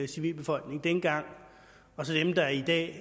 civilbefolkningen og dem der i dag